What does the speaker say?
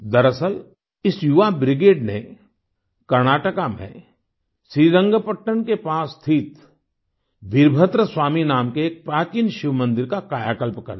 दरअसल इस युवा ब्रिगेड ने कर्नाटका में श्रीरंगपट्न Srirangapatnaके पास स्थित वीरभद्र स्वामी नाम के एक प्राचीन शिवमंदिर का कायाकल्प कर दिया